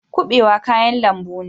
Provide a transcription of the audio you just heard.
Kubewa kayan lambu ne.